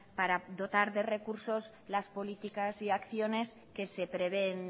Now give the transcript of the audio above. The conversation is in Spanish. para dotar de recursos las políticas y acciones que se prevén